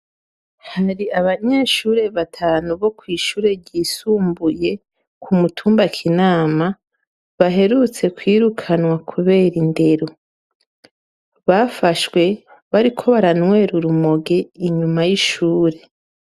Hari abanyeshure batanu bo kw'ishure ry'isumbuye kumutumba kinama baherutse kwirukanwa kubera indero bafashwe bariko baranywera urumogi inyuma y'ishure.